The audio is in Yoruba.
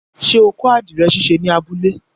Ṣé o kọ́ àdìrẹ̀ ṣíṣe ní abúlé?